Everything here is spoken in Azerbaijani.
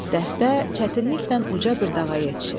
Dəstə çətinliklə uca bir dağa yetişir.